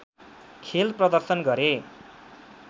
खेल प्रदर्शन गरे